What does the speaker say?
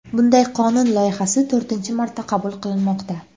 Bunday qonun loyihasi to‘rtinchi marta qabul qilinmoqda.